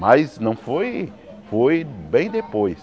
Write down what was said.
Mas não foi, foi bem depois.